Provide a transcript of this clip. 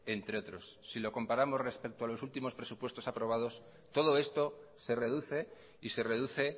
entre otros si lo comparamos respecto a los últimos presupuesto aprobados todo esto se reduce y se reduce